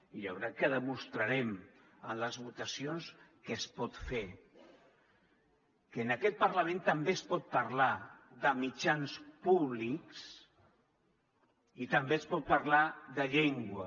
i jo crec que demostrarem en les votacions que es pot fer que en aquest parlament també es pot parlar de mitjans públics i també es pot parlar de llengua